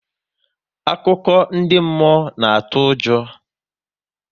Akụkọ ndị mmụọ na-atụ ụjọ